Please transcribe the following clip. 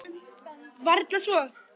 Varla svo.